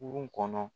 Kurun kɔnɔ